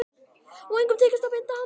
Og engum tekist að binda hann.